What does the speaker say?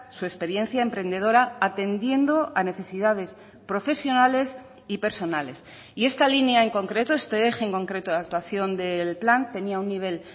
su experiencia emprendedora atendiendo a necesidades profesionales y personales y esta línea en concreto este eje en concreto de actuación del plan tenía un nivel